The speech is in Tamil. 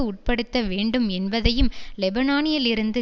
உட்படுத்த வேண்டும் என்பதையும் லெபனானிலிருந்து